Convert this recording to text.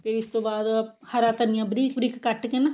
ਫਿਰ ਇਸ ਤੋਂ ਬਾਅਦ ਹਰਾ ਧਨੀਆ ਬਰੀਕ ਬਰੀਕ ਕੱਟ ਕੇ ਨਾ